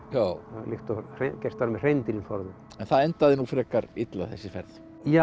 líkt og gert var með hreindýrin forðum en það endaði nú frekar illa þessi ferð já